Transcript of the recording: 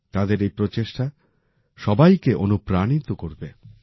তাঁদের এই প্রচেষ্টা সবাইকে অনুপ্রাণিত করবে